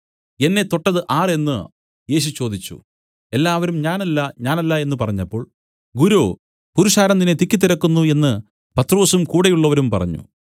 എന്നെ തൊട്ടത് ആർ എന്നു യേശു ചോദിച്ചു എല്ലാവരും ഞാനല്ല ഞാനല്ല എന്നു പറഞ്ഞപ്പോൾ ഗുരോ പുരുഷാരം നിന്നെ തിക്കിത്തിരക്കുന്നു എന്നു പത്രൊസും കൂടെയുള്ളവരും പറഞ്ഞു